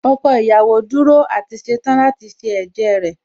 Ọkọ ìyàwó dúró àti ṣetán láti ṣe ẹ̀jẹ́ rẹ̀